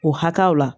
O hakɛw la